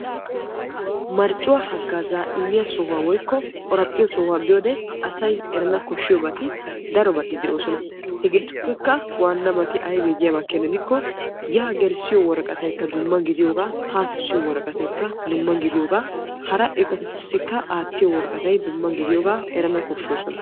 marccuwa haggazaa woykko qoraphphiyo sohuwa biiyode asay eranna koshshiyobati darobati de'oosona. hegetuppekka waanabaykka aybbe giyaaba gidikko yaa gelissiyo woraqqataykka dumma ha kessiyoo kessiyo woaraqataykka dumma gidiyooga hara eqotatussikka aattiyo woraqatay dumma gidiyooga erana koshshoosona.